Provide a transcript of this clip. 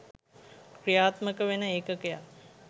ක්‍රියාත්මක වෙන ඒකකයක්